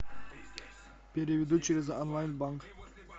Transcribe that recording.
переведу через онлайн банк